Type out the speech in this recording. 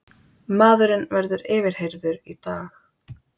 Maðurinn verður yfirheyrður í dag